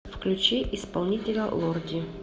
включи исполнителя лорди